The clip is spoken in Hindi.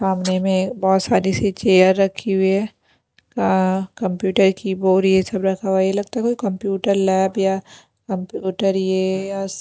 सामने में बहुत सारी सी चेयर रखी हुई है कंप्यूटर कीबोर्ड ये सब रखा हुआ है ये लगता है कोई कंप्यूटर लैब या कंप्यूटर ये या --